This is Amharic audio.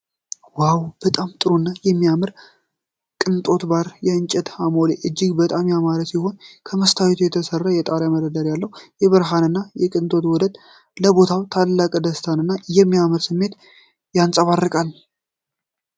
ዋው! በጣም ጥሩና የሚያምር የቅንጦት ባር! የእንጨት አሞሌው እጅግ በጣም ያማረ ሲሆን፣ ከመስታወት የተሠራው የጣሪያ መደርደሪያ አለው። የብርሃንና የቅንጦት ውህደት ለቦታው ታላቅ ደስታንና የሚያምር ስሜት ያንጸባርቃል።